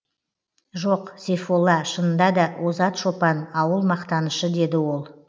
жоқ сейфолла шынында да озат шопан ауыл мақтанышы деді ол